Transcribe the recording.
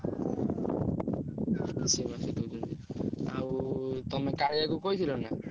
ମିଶେଇ ମାସେଇ ଦଉଛନ୍ତି। ଆଉ ତମେ କାଳିଆକୁ କହିଥିଲ ନା?